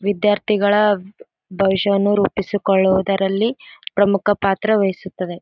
ವಿದ್ಯಾರ್ಥಿಗಳ ಭವಿಷ್ಯವನ್ನು ರೂಪಿಸಿಕೊಳ್ಳುವುದರಲ್ಲಿ ಪ್ರಮುಖ ಪಾತ್ರ ವಹಿಸುತ್ತದೆ .